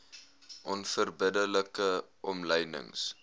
onverbidde like omlynings